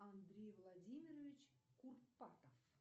андрей владимирович курпатов